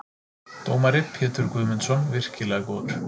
Dómari: Pétur Guðmundsson- virkilega góður.